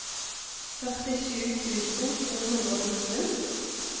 førtisju tusen to hundre og nitten